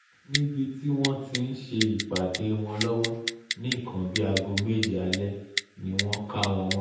níbi tí wọ́n ti ń ṣe ìpàdé wọn lọ́wọ́ ní nǹkan bíi aago méje alẹ́ ni wọ́n kà wọ́n mọ́